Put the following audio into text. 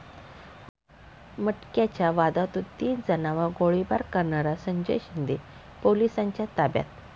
मटक्याच्या वादातून तीन जणांवर गोळीबार करणारा संजय शिंदे पोलिसांच्या ताब्यात